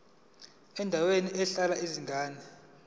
endaweni ehlala izingane